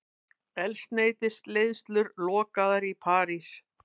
Eldsneytisleiðslur lokaðar í París